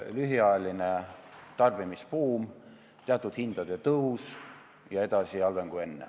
Lühiajaline tarbimisbuum, teatud hindade tõus ja edasi halvem seis kui enne.